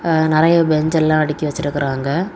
நெறைய பெஞ்ச் எல்லாம் அடுக்கி வச்சிருக்காங்க.